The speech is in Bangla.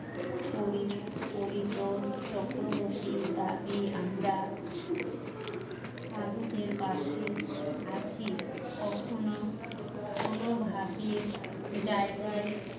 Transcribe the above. পরিশ পরিতোষ চক্রবর্তীর দাদি আমরা সাধুদের পাশে আছি কখনো কোনো ভাবে জায়গা